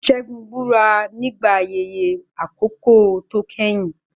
Segun búra nígbà ayẹyẹ àkọ́kọ́ tó kẹ́yìn.